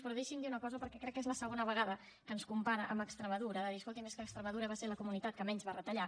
però deixi’m dir una cosa perquè crec que és la segona vegada que ens compara amb extremadura de dir escolti’m és que extremadura va ser la comunitat que menys va retallar